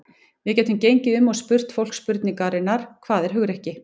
Við gætum gengið um og spurt fólk spurningarinnar: Hvað er hugrekki?